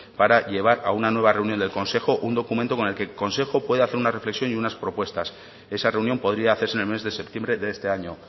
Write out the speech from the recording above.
para llevar a una nueva reunión del consejo un documento con el que el consejo pueda hacer una reflexión y unas propuestas esa reunión podría hacerse en el mes de septiembre de este año